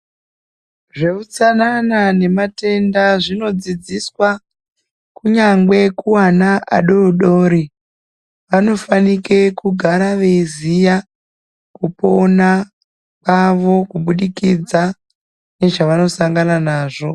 Zveutsanana nematenda zvinodzidziswa kunyangwe kuwana adoodori ana anofanike kugara eyiziyaa kupona kavo kubudikidza nezvavanosangana nazvo.